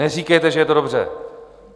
Neříkejte, že je to dobře!